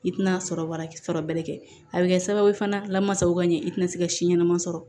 I tina sɔrɔ bara sɔrɔbɛ kɛ a bɛ kɛ sababuye fana lamasa u ka ɲɛ i tɛna se ka si ɲɛnama sɔrɔ